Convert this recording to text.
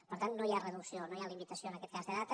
per tant no hi ha reducció no hi ha limitació en aquest cas de data